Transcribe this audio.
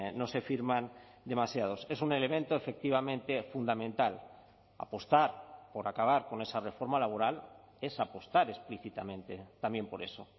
no se firman demasiados es un elemento efectivamente fundamental apostar por acabar con esa reforma laboral es apostar explícitamente también por eso